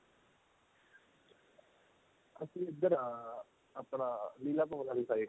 ਅਸੀਂ ਇੱਧਰ ਆ ਆਪਣਾ ਲੀਲਾ ਭਵਨ ਵਾਲੀ side